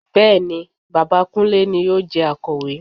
Bẹ́ẹ̀ ni, bàbá Kúnlé ni yóò jẹ Akọ̀wé